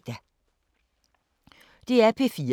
DR P4 Fælles